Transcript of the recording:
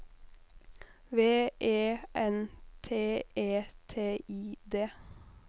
V E N T E T I D